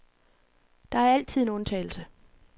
Der er altid en undtagelse.